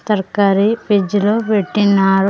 తరకారి ఫ్రీడ్జ్ లో పెట్టిన్నారు.